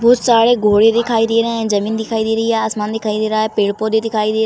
बहोत सारे घोड़े दिखाई दे रहे हैं जमीन दिखाई दे रही है आसमान दिखाई दे रहा है पेड़-पौधे दिखाई दे --